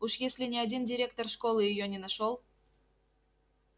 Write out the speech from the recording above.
уж если ни один директор школы её не нашёл